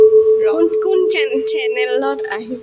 কোন কোন cha channel ত আহিব?